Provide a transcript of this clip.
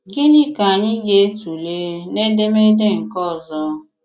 Gịnị̀ ka anyị̀ ga-̀tụ̀leè n’édémédé nke òzọ̀?